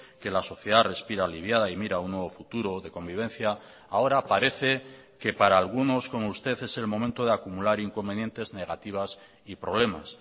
que la sociedad respira aliviada y mira a un nuevo futuro de convivencia ahora parece que para algunos como usted es el momento de acumular inconvenientes negativas y problemas